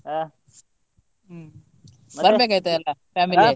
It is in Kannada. ಹ ಹ್ಮ್ ಮತ್ತ? ಬರ್ಬೇಕಾಯ್ತಾ ಎಲ್ಲ family .